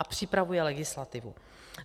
A připravuje legislativu.